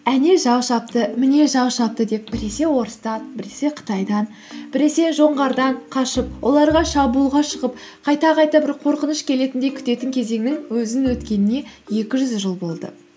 әне жау шапты міне жау шапты деп біресе орыстан біресе қытайдан біресе жоңғардан қашып оларға шабуылға шығып қайта қайта бір қорқыныш келетіндей күтетін кезеңнің өзінің өткеніне екі жүз жыл болды